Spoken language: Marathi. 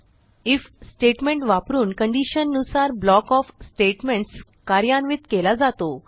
आयएफ स्टेटमेंट वापरून कंडिशन नुसार ब्लॉक ओएफ स्टेटमेंट्स कार्यान्वित केला जातो